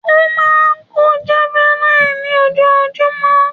Ó máa kọ́ javelin ní ojoojúmọ́.